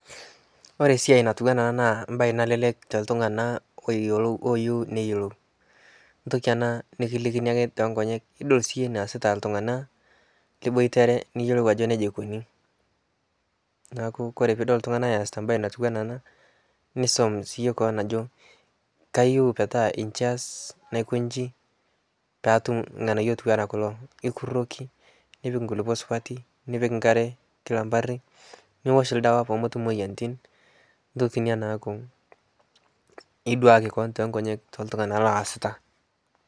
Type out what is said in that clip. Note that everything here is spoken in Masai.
kore siai natuwaa ana naa siai nalelek teltunga ooyelo ooyeu neyelou ntoki anaa nikilikini ake tonkonyek idol sii yie neasita ltungana liboitere niyelou ajo neja eikonii naaku kore piidol ltungana easita mbai natuwana anaa nisom sii yie koon ajo kayeu metaa nchii aaz naikonshii paatum lghanayo otuwana kulo ikuroki nipik nkulipo supati nipik nkare kila mpari niwosh ldawa poomotum moyanitin ntoki inia naaku iduaki koon te nkonyek toltungana loasitaa